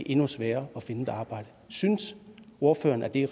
endnu sværere at finde et arbejde synes ordføreren at det